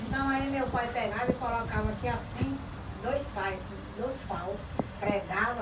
Então aí meu pai pegava e colocava aqui assim, dois pai dois pau, pregava